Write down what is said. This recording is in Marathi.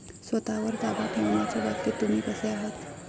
स्वतःवर ताबा ठेवण्याच्या बाबतीत तुम्ही कसे आहात?